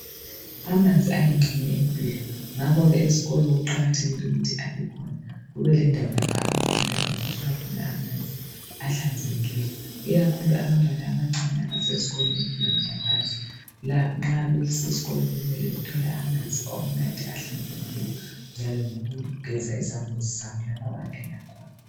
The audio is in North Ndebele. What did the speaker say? Amanzi ayingxenye yempilo ngakho ke ezikolo kuqakathekile ukuthi abekhona kube lendawo lapho abafundi abangathola khona amanzi ahlanzekileyo ikakhulu abantwana abancane abasesezikolweni emfundweni yaphansi sokumele bathole amanzi okunatha ahlanzekileyo njalo lokugeza izambuzi zabo lapho abangena khona.